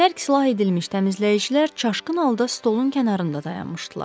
Tərk silah edilmiş təmizləyicilər çaşqın halda stolun kənarında dayanmışdılar.